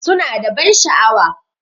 Suna da ban sha'awa.